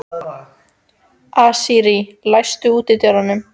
Asírí, læstu útidyrunum.